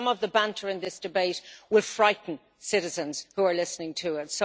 Some of the banter in this debate will frighten citizens who are listening to it.